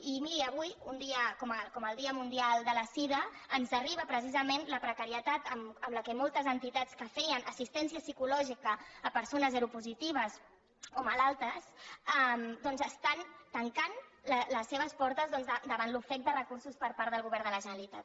i miri avui un dia com el dia mundial de la sida ens arriba precisament la precarietat amb la qual moltes entitats que feien assistència psicològica a persones seropositives o malaltes doncs estan tancant les seves portes davant l’ofec de recursos per part del govern de la generalitat